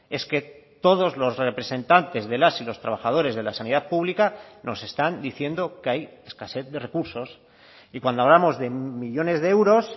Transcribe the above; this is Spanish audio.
es que todos los representantes de las y los trabajadores de la sanidad pública nos están diciendo que hay escasez de recursos y cuando hablamos de millónes de euros